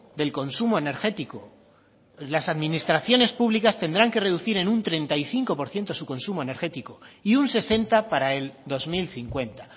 del consumo energético las administraciones públicas tendrán que reducir en un treinta y cinco por ciento su consumo energético y un sesenta para el dos mil cincuenta